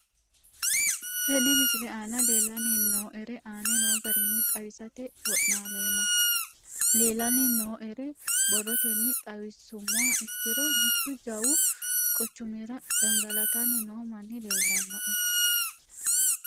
Tene misile aana leelanni nooerre aane noo garinni xawisate wonaaleemmo. Leelanni nooerre borrotenni xawisummoha ikkiro mittu jawu quchumirra gangalatanni noo manni leelanoe.